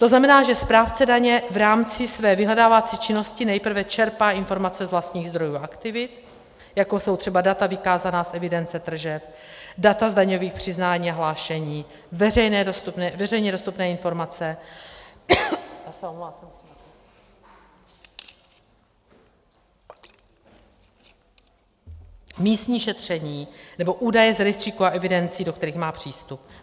To znamená, že správce daně v rámci své vyhledávací činnosti nejprve čerpá informace z vlastních zdrojů a aktivit, jako jsou třeba data vykázaná z evidence tržeb, data z daňových přiznání a hlášení, veřejně dostupné informace, místní šetření nebo údaje z rejstříků a evidencí, do kterých má přístup.